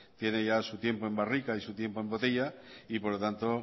tiene su tiempo en barrica y su tiempo el botella y por lo tanto